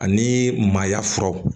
Ani maaya fura